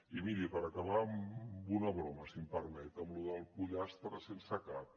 i miri per acabar amb una broma si em permet amb lo del pollastre sense cap